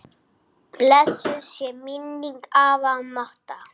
Blessuð sé minning afa Matta.